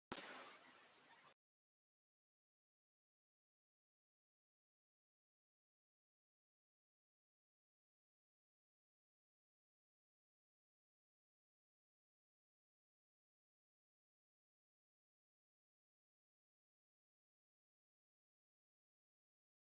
Helgi fór á sjóinn og vann líka stundum við löndun.